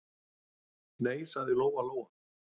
Nei, sagði Lóa-Lóa.